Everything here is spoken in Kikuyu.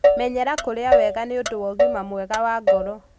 Menyera kũrĩa wega nĩũndũ na ũgima mwega wa ngoro